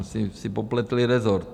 Asi si popletli rezort.